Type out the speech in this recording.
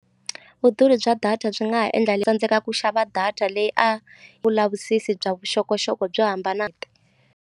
Vudurhi bya data byi nga ha endla i tsandzekaka ku xava data leyi a vulavisisi bya vuxokoxoko byo hambana .